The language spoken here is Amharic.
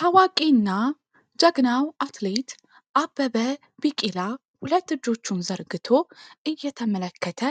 ታዋቂና ጀግናው አትሌት አበበ ቢቂላ ሁለት እጆቹን ዘርግቶ እየተመለከተ